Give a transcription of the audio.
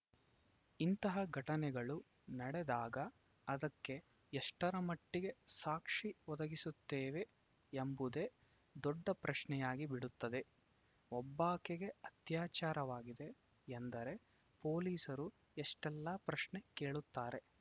ಇಂತಹ ಘಟನೆಗಳು ನಡೆದಾಗ ಅದಕ್ಕೆ ಎಷ್ಟರಮಟ್ಟಿಗೆ ಸಾಕ್ಷಿ ಒದಗಿಸುತ್ತೇವೆ ಎಂಬುದೇ ದೊಡ್ಡ ಪ್ರಶ್ನೆಯಾಗಿ ಬಿಡುತ್ತದೆ ಒಬ್ಬಾಕೆಗೆ ಅತ್ಯಾಚಾರವಾಗಿದೆ ಎಂದರೆ ಪೊಲೀಸರು ಎಷ್ಟೆಲ್ಲಾ ಪ್ರಶ್ನೆ ಕೇಳುತ್ತಾರೆ